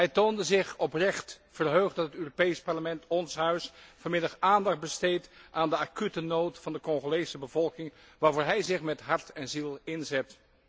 Hij toonde zich oprecht verheugd dat het Europees Parlement, ons Huis, vanmiddag aandacht besteedt aan de acute nood van de Congolese bevolking, waarvoor hij zich met hart en ziel inzet.